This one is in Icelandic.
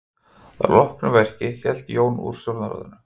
Að loknu verki hélt Jón úr stjórnarráðinu.